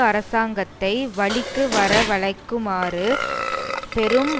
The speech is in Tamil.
அரசாங்கத்தை வழிக்கு வர வழைக்குமாறு பெரும்